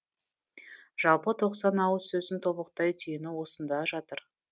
жалпы тоқсан ауыз сөздің тобықтай түйіні осында жатыр